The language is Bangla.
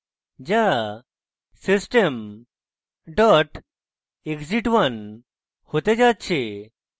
যা system exit 1 হতে যাচ্ছে